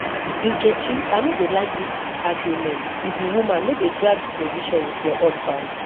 nkechi i no dey like dis argument you be woman no dey drag position with your husband